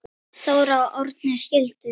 Þóra og Árni skildu.